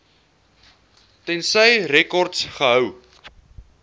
tensy rekords gehou